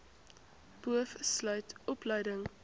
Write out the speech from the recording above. boov sluit opleiding